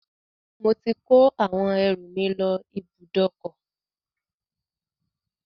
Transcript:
Mo ti ko àwọn ẹrù mi lọ ibùdókọ̀